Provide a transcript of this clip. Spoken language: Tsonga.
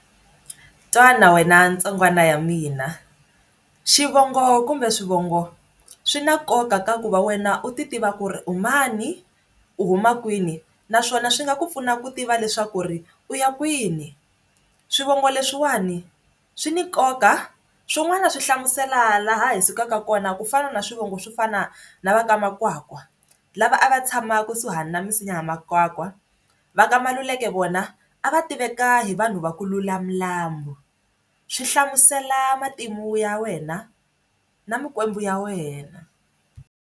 Twana wena ntsongwana ya mina xivongo kumbe swivongo swi na nkoka ka ku va wena u ti tiva ku ri u mani u huma kwini naswona swi nga ku pfuna ku tiva leswaku ri u ya kwini swivongo leswiwani swi ni nkoka swin'wana swi hlamusela laha hi sukaka kona kufana na swivongo swo fana na va ka Makwakwa lava a va tshama kusuhana na misinya ya makwakwa va ka Maluleke vona a va tiveka hi vanhu va ku lula milambu swi hlamusela matimu ya wena na mikwembu ya wena.